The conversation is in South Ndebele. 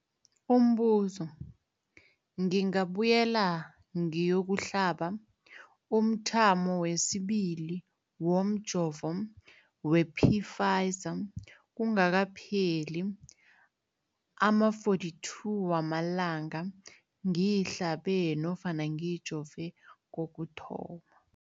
Umbuzo, ngingabuyela ngiyokuhlaba umthamo wesibili womjovo we-Pfizer kungakapheli ama-42 wamalanga ngihlabe nofana ngijove kokuthoma.